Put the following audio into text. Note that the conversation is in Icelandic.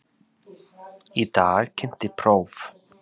Í dag kynnti próf